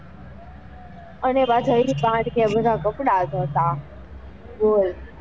અને પાછા એ જ પાણી થી બધા કપડા ધોતા બોલ.